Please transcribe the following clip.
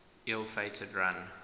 ill fated run